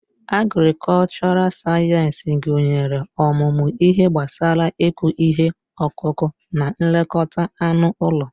Agrikọlchọral sayensị gụnyere ọmụmụ ihe gbasara ịkụ ihe ọkụkụ na nlekọta anụ ụlọ.